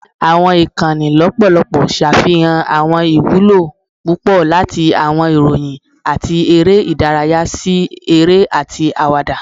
Awọn ikanni lọpọlọpọ ṣafihan awọn iwulo pupọ, lati awọn iroyin ati ere idaraya si ere ati awada.